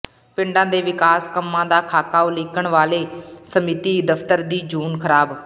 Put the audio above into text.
ਪਿੰਡਾਂ ਦੇ ਵਿਕਾਸ ਕੰਮਾਂ ਦਾ ਖਾਕਾ ਉਲੀਕਣ ਵਾਲੇ ਸਮਿਤੀ ਦਫ਼ਤਰ ਦੀ ਜੂਨ ਖ਼ਰਾਬ